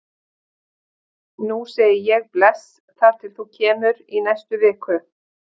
Nú segi ég bless þar til þú kemur í næstu viku.